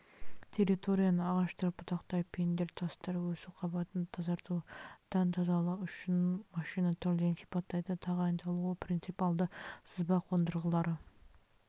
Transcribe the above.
территорияны ағаштар бұтақтар пеньдер тастар өсу қабатынан тазартудан тазалау үшін машина түрлерін сипаттайды тағайындалуы принципиалды сызба қондырғылары